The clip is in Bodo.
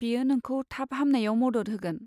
बेयो नोंखौ थाब हामनायाव मदद होगोन।